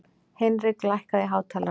Hinrik, lækkaðu í hátalaranum.